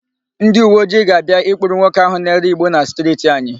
Ndịuweojii ga-abịa ịkpụrụ nwoke áhụ̀ na-ere ìgbó na stirti anyị.